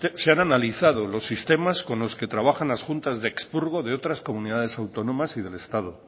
se han analizado los sistemas con los que trabajan las juntas de expurgo de otras comunidades autónomas y del estado